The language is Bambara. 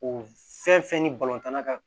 O fɛn fɛn ni tanna ka